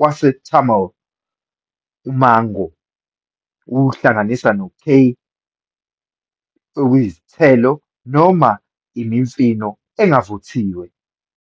waseTamil, "Umango", okuhlanganisa no-"kay", okuyisithelo noma imifino engavuthiwe".